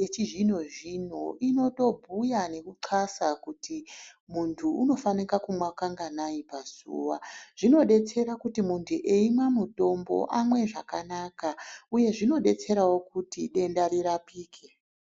yechizvino-zvino inotobhuya nekuxasa kuti muntu unofana kumwa kanganai pazuva. Zvinodetsera kuti muntu eimwa mutombo amwe zvakanaka. Huye zvinodetserawo kuti denda rirapike